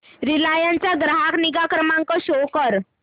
Reliance चा ग्राहक निगा क्रमांक शो कर